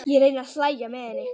Ég reyni að hlæja með henni.